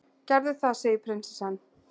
gerðu það, segir prinsessan.